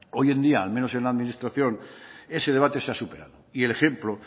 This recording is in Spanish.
hoy en día al menos en la administración ese debate se ha superado y el ejemplo